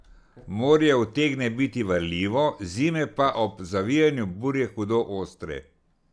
Morje utegne biti varljivo, zime pa ob zavijanju burje hudo ostre.